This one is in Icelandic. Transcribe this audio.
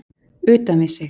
Utan við sig